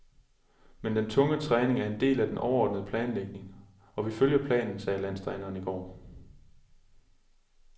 Men den tunge træning er en del af den overordnede planlægning, og vi følger planen, sagde landstræneren i går.